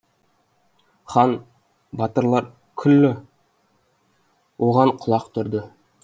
хан батырлар күллі оған құлақ түрді